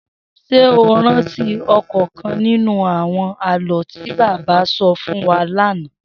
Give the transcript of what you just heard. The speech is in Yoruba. S̩é o rántí ò̩kò̩ò̩kan nínú àwo̩n àló̩ tí bàbá sọ fún wa lánàá?